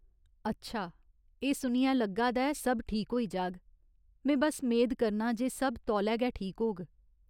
अच्छा, एह् सुनियै लग्गा दा ऐ सब ठीक होई जाग, में बस्स मेद करनां जे सब तौले गै ठीक होग।